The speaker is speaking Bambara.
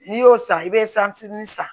N'i y'o san i bɛ san